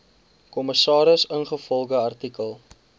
kommissaris ingevolge artikel